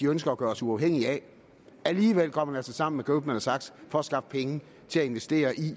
ønsker at gøre os uafhængige af alligevel går man altså sammen med goldman sachs for at skaffe penge til at investere i